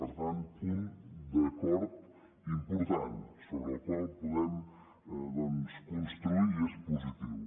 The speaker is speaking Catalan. per tant punt d’acord important sobre el qual podem construir i és positiu